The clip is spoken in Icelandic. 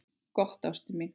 Gott, ástin mín.